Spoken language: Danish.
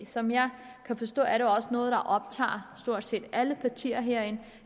som jeg kan forstå er det også noget der optager stort set alle partier herinde